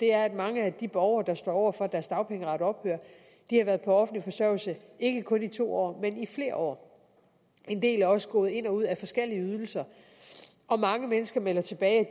er at mange af de borgere der står over for at deres dagpengeret ophører har været på offentlig forsørgelse i ikke kun to år men i flere år en del er også gået ind og ud af forskellige ydelser og mange mennesker melder tilbage at